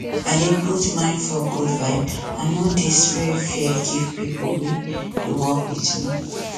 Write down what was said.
i dey put mind for good vibe i no dey spread fear give people wey dey work with me